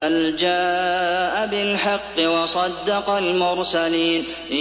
بَلْ جَاءَ بِالْحَقِّ وَصَدَّقَ الْمُرْسَلِينَ